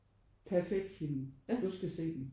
Perfekt film husk at se den